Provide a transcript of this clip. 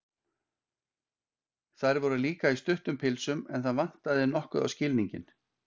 Þær voru líka í stuttum pilsum, en það vantaði nokkuð á skilninginn.